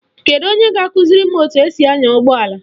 Kedu onye ga-akụziri etu esi anya ụgbọala?